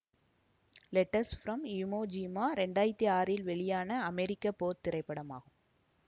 letters from Iwo Jima இரண்டு ஆயிரத்தி ஆறில் வெளியான அமெரிக்க போர் திரைப்படமாகும்